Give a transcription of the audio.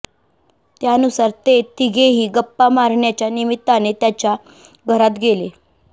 त्यानुसार ते तिघेही गप्पा मारण्याच्या निमित्ताने त्याच्या घरात गेले